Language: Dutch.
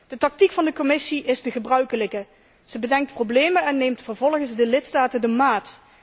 De tactiek van de Commissie is de gebruikelijke zij bedenkt problemen en neemt vervolgens de lidstaten de maat.